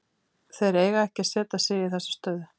Þeir eiga ekki að setja sig í þessa stöðu.